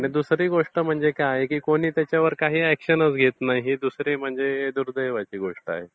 दुसरी गोष्ट म्हणजे काय आहे की कोणी त्याच्यावर काही अॅक्शनच घेत नाही ही दुसरी म्हणजे दुर्दैवाची गोष्ट आहे.